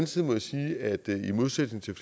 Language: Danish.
side må jeg sige at det i modsætning til